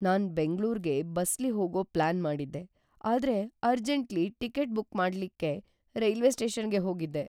ನಾನ್ ಬೆಂಗಳೂರ್ಗೆ ಬಸ್ಲಿ ಹೋಗೋ ಪ್ಲಾನ್ ಮಾಡಿದ್ದೆ ಆದ್ರೆ ಅರ್ಜೆಂಟ್ಲ್ಲಿ ಟಿಕೆಟ್ ಬುಕ್ ಮಾಡ್ಲಿಕ್ಕೆ ರೈಲ್ವೆ ಸ್ಟೇಷನ್ಗೆ ಹೋಗಿದ್ದೆ.